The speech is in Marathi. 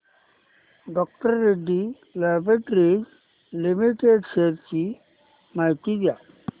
डॉ रेड्डीज लॅबाॅरेटरीज लिमिटेड शेअर्स ची माहिती द्या